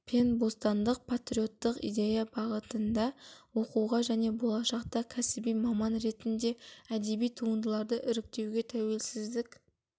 пен бостандық патриоттық идея бағытында оқуға және болашақта кәсіби маман ретінде әдеби туындыларды іректеуге тәуелсіздік